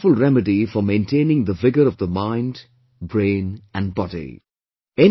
This is a wonderful remedy for maintaining the vigour of the mind, brain and body